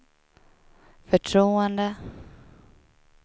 förtroende